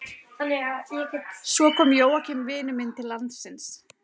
Svo kom Jóakim vinur minn til landsins.